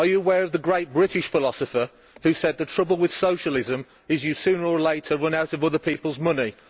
Are you aware of the great British philosopher who said that the trouble with socialism is you sooner or later run out of other people's money'?